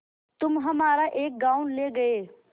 तुम हमारा एक गॉँव ले गये